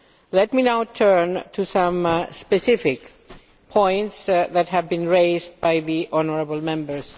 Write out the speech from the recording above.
Let me now turn to some specific points that have been raised by the honourable Members.